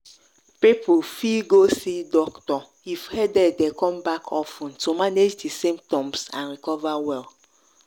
people fit go see doctor if headache dey come back of ten to manage di symptoms and recover well.